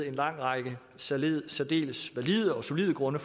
en lang række særdeles særdeles valide og solide grunde